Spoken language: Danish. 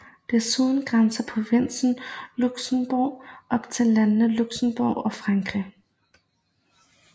Desuden grænser provinsen Luxembourg op til landene Luxembourg og Frankrig